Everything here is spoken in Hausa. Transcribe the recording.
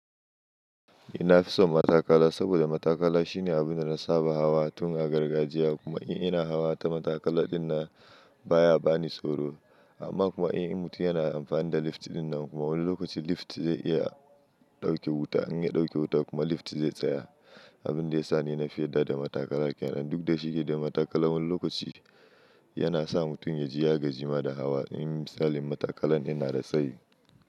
Ina fison matakala saboda matakala shine abunda na saba hawa tun a gargajiya kuma in ina hawa ta matakala dinnan baya bani tsoro. Amma kuma in mutum yana amfani da lift dinnan kuma wani lokaci lift zai iya dauke wuta, in ya dauke wuta kuma lift zai tsaya. Abin da ya sa ni na fi yarda da matakala kyanan duk da shike da matakala wani lokaci yana sa mutum ya ji ya gaji ma da hawa. In misali matakalan ina da tsayi.